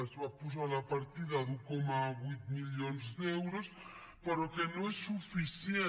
es va posar la partida d’un coma vuit milions d’euros però que no és suficient